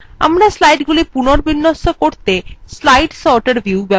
আমরা slideগুলি পুনর্বিন্যস্ত করতে slide sorter view ব্যবহার করতে পারি